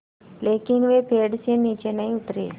लेकिन वे पेड़ से नीचे नहीं उतरे